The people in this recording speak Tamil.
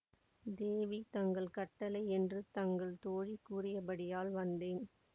தேவி தங்கள் கட்டளை என்று தங்கள் தோழி கூறியபடியால் வந்தேன்